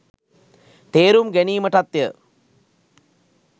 තේරුම් ගැනීමටත්ය.